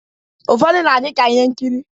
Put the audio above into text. Ufọdu na adi ka ihe nkiri